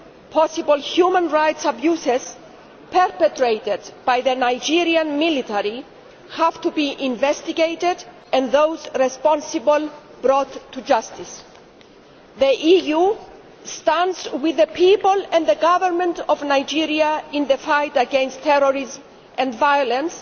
Possible human rights abuses perpetrated by the Nigeria military have to be investigated and those responsible brought to justice. The EU stands with the people and government of Nigeria in the fight against terrorism and violence,